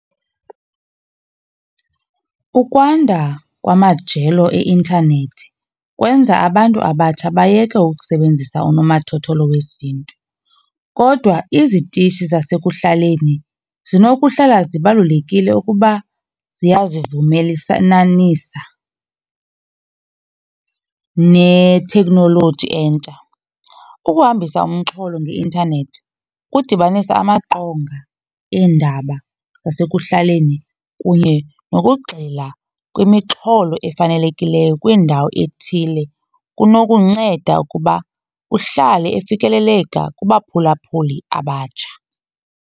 Ukwanda kwamajelo eintanethi kwenza abantu abatsha bayeke ukusebenzisa unomathotholo wesiNtu. Kodwa izitishi zasekuhlaleni zinokuhlala zibalulekile ukuba neteknoloji entsha. Ukuhambisa umxholo ngeintanethi kudibanisa amaqonga eendaba zasekuhlaleni kunye nokugxila kwimixholo efanelekileyo kwindawo ethile kunokunceda ukuba uhlale efikeleleka kubaphulaphuli abatsha.